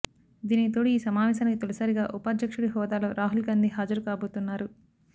దీనికి తోడు ఈ సమావేశానికి తొలిసారిగా ఉపాధ్యక్షుడి హోదాలో రాహుల్ గాంధీ హాజరు కాబోతున్నారు